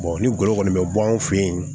ni golo kɔni bɛ bɔ anw fɛ yen